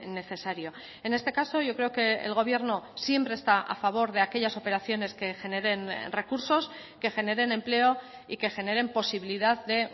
necesario en este caso yo creo que el gobierno siempre está a favor de aquellas operaciones que generen recursos que generen empleo y que generen posibilidad de